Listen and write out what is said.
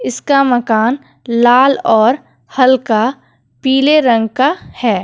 इसका मकान लाल और हल्का पीले रंग का है।